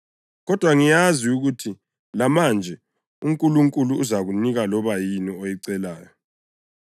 Kodwa ngiyazi ukuthi lamanje uNkulunkulu uzakunika loba yini oyicelayo.”